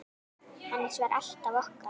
Hans var alltaf okkar.